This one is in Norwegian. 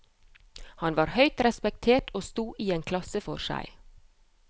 Han var høyt respektert og sto i en klasse for seg.